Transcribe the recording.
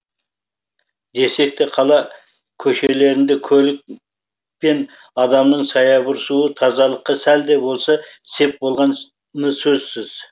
десек те қала көшелерінде көлік пен адамның саябырсуы тазалыққа сәл де болса сеп болған ы сөзсіз